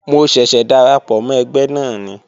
Mo ṣẹ̀ṣẹ̀ darapọ̀ mọ́ ẹgbẹ́ náà ni